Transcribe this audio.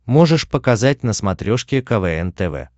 можешь показать на смотрешке квн тв